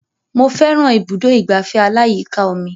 Mo fẹ́ran ibùdó ìgbafẹ́ aláyíká omi